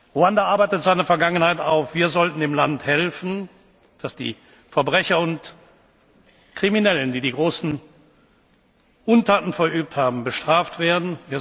des Landes. Ruanda arbeitet seine Vergangenheit auf. Wir sollten dem Land helfen, dass die Verbrecher und die Kriminellen, die die großen Untaten verübt haben, bestraft